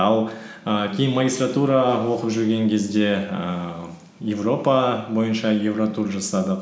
ал і кейін магистратура оқып жүрген кезде ііі европа бойынша евротур жасадық